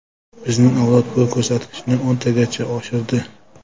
Bizning avlod bu ko‘rsatkichni o‘ntagacha oshirdi.